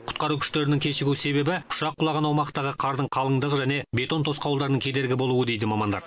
құтқару күштерінің кешігу себебі ұшақ құлаған аумақтағы қардың қалыңдығы және бетон тосқауылдарының кедергі болуы дейді мамандар